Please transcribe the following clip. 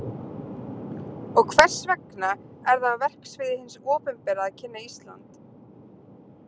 Og hvers vegna er það á verksviði hins opinbera að kynna Ísland?